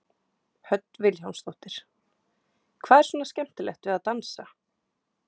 Hödd Vilhjálmsdóttir: Hvað er svona skemmtilegt við að dansa?